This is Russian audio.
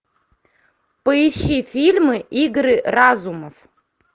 поищи фильмы игры разумов